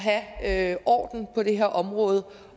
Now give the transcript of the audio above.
have orden på det her område